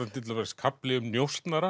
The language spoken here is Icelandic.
til dæmis kafli um njósnara